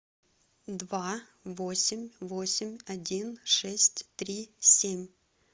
два восемь восемь один шесть три семь